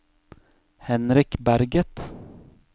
Henrik Berget